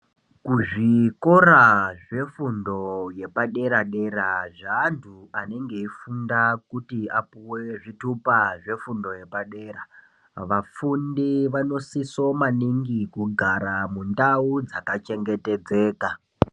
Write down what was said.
Kuzvikora zvefundo yepadera dera zveantu anenge achifunda kuti vapuwe zvitupa zvefundo yepadera vafundi vanosisa maningi kugara mundau dzakachengetedzeka.